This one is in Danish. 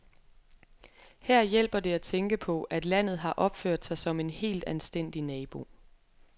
Her hjælper det at tænke på, at landet har opført sig som en helt anstændig nabo.